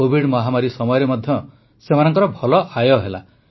Covid ମହାମାରୀ ସମୟରେ ମଧ୍ୟ ସେମାନଙ୍କର ଭଲ ଆୟ ହେଲା